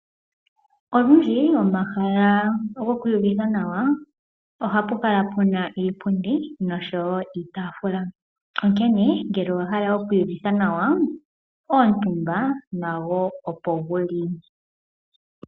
Olundji pomahala gokwiiyuvitha nawa ohapu kala pu na iipundi nosho woo iitaafula, onkene ngele owa hala okuiyuvitha nawa omutumba opo gu li.